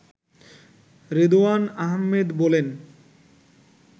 রেদোয়ান আহমেদ বলেন